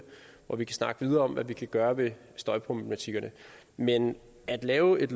hvor vi kan snakke videre om hvad vi kan gøre ved støjproblematikkerne men at lave et